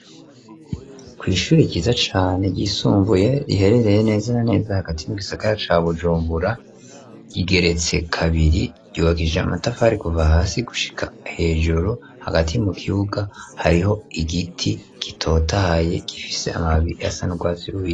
Kw'ishure ryiza cane ryisumbuye riherereye neza na neza hagati mu gisagara ca Bujumbura, rigeretse kabiri, ryubakishije amatafari kuva hasi gushika hejuru, hagati mu kibuga hariho igiti gitotahaye gifise amababi asa n'urwatsi rubisi.